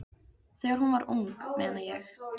Þegar hún var ung, meina ég.